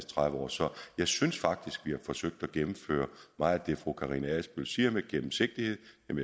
tredive år så jeg synes faktisk vi har forsøgt at gennemføre meget af det fru karina adsbøl siger om at have gennemsigtighed